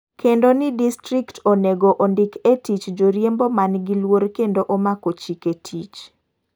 Kendo ni distrikt onego ondik e tich joriembo man gi luor kendo omako chike tich.